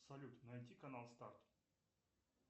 салют найти канал старт